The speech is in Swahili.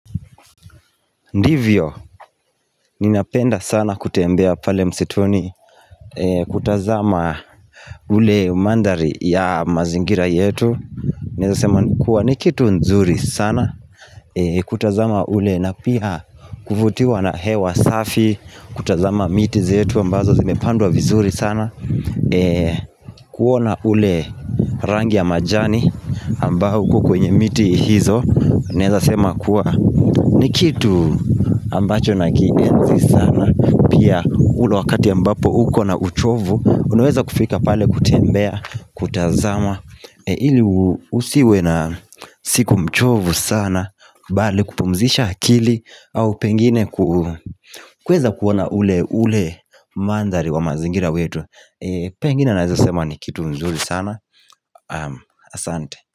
Ndivyo ninapenda sana kutembea pale msituni kutazama ule mandhari ya mazingira yetu naeza sema kuwa ni kitu nzuri sana kutazama ule na pia kuvutiwa na hewa safi kutazama miti zetu ambazo zimepandwa vizuri sana kuona ule rangi ya majani ambao uko kwenye miti hizo Naeza sema kuwa ni kitu ambacho nakienzi sana Pia ule wakati ambapo uko na uchovu Unaweza kufika pale kutembea, kutazama ili usiwe na siku mchovu sana Bali kupumzisha akili au pengine kuweza kuona ule ule mandhari wa mazingira wetu Pengine naeza sema ni kitu mzuri sana Asante.